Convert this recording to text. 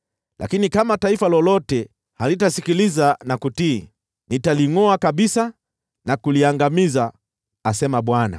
Lakini kama taifa lolote halitasikiliza na kutii, nitalingʼoa kabisa na kuliangamiza,” asema Bwana .